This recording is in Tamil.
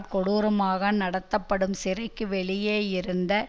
கொடூரமாக நடத்தப்படும் சிறைக்கு வெளியே இருந்த